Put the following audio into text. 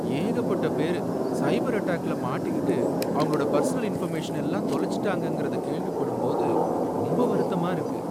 ஏகப்பட்ட பேரு சைபர் அட்டாக்ல மாட்டிக்கிட்டு அவங்களோட பர்சனல் இன்ஃபர்மேஷன் எல்லாம் தொலைச்சுட்டாங்கங்கறத கேள்விப்படும் போது ரொம்ப வருத்தமா இருக்கு.